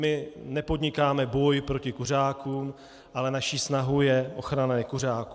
My nepodnikáme boj proti kuřákům, ale naší snahou je ochrana nekuřáků.